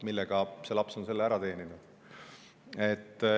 Millega see laps on selle ära teeninud?